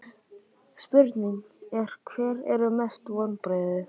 Spurningin er: Hver eru mestu vonbrigðin?